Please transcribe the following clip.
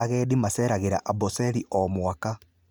Agendi maceragĩra Amboseli o mwaka.